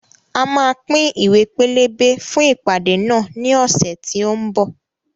A máa pín Ìwé pelebe fún ìpàdé náà ní ọ̀sẹ̀ tí ó ń bọ̀